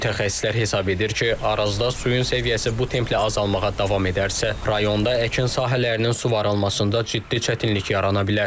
Mütəxəssislər hesab edir ki, Arazda suyun səviyyəsi bu templə azalmağa davam edərsə, rayonda əkin sahələrinin suvarılmasında ciddi çətinlik yarana bilər.